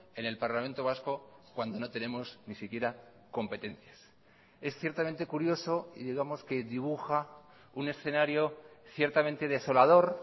en el parlamento vasco cuando no tenemos ni siquiera competencias es ciertamente curioso y digamos que dibuja un escenario ciertamente desolador